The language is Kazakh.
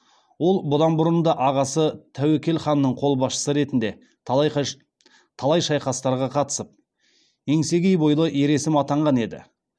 ол бұдан бұрын да ағасы тәуекел ханның қолбасшысы ретінде талай шайқастарға катысып еңсегей бойлы ер есім атанған еді